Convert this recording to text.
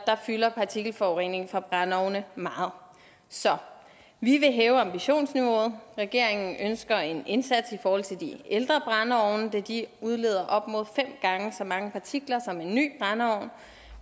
fylder partikelforurening fra brændeovne meget så vi vil hæve ambitionsniveauet regeringen ønsker en indsats i forhold til de ældre brændeovne da de udleder op mod fem gange så mange partikler som en ny brændeovn